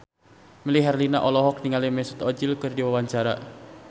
Melly Herlina olohok ningali Mesut Ozil keur diwawancara